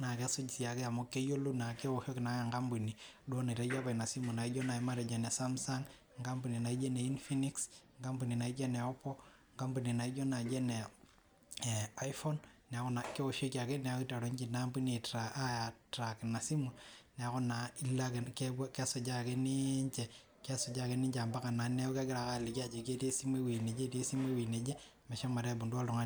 naa kesuj naake amuu keoshoki ake duo enkampuni nitayio ina simu anaa duo enkampuni e Samsung, enkampuni naaijo ene infinx, enkampuni naaijo ene oppo enkampuni naaijo ene iPhone neeku naa keoshoki ake nelo ninye ina ampuni aaitrak ina simu neeku kesujaa ake ninche ampaka neeku kegirae ake aaliki ajo etii esimu wueji neje omeshomo aaibung oltung'ani.